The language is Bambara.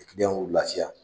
Kiliyanw lafiya